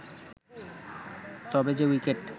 তবে যে উইকেট